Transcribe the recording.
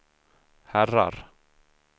herrar